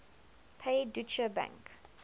pay deutsche bank